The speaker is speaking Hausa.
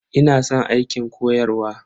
Ina san aikin koyarwa.